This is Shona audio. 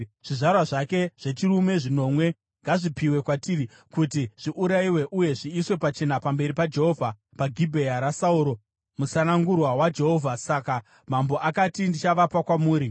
zvizvarwa zvake zvechirume zvinomwe ngazvipiwe kwatiri kuti zviurayiwe uye zviiswe pachena pamberi paJehovha paGibhea raSauro musanangurwa waJehovha.” Saka mambo akati, “Ndichavapa kwamuri.”